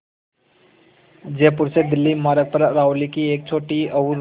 जयपुर से दिल्ली मार्ग पर अरावली की एक छोटी और